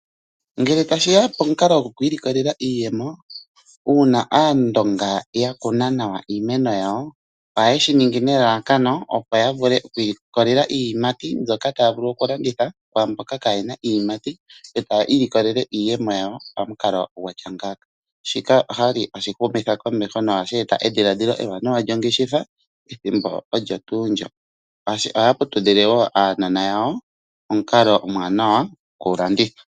Ngele tashiya pomukalo gokwiilikolela iiyemo, uuna aandonga yakuna nawa iimeno yawo ohaye shi ningi nelalakano opo yavule okwiilikolela iiyimati mbyoka taya vulu okulanditha kwaamboka kaye na iiyimati , yo taya ilikolele iiyemo yawo pamukalo gwatya ngaaka . Shika oshali hashi humitha komeho nohashi eta edhiladhilo ewanawa lyongeshefa pethimbo olyo tuu lyo. Ohaya putudhile woo aanona yawo pamukalo ombwanawa goku landitha .